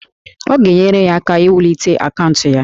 Ọ ga-enyere ya aka iwulite akaụntụ ya